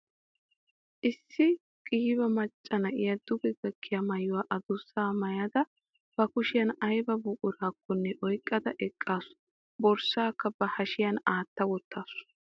Issi qiiba macca na'iya duge gakkiya maayuwa adussaa maayada ba kushiyan ayba buqurakkonne oyqqada eqqaasu. Borssaakka ba hashiyan aatta wottaasu.